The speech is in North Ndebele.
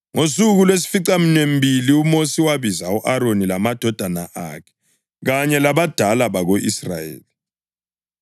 Ngosuku lwesificaminwembili uMosi wabiza u-Aroni lamadodana akhe kanye labadala bako-Israyeli.